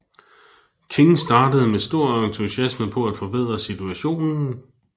King startede med stor entusiasme på at forbedre situationen